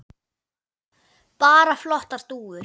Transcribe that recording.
Bara flottar dúfur.